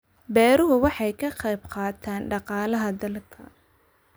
Beeruhu waxay ka qayb qaataan dhaqaalaha dalka.